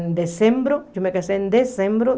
Em dezembro, eu me casei em dezembro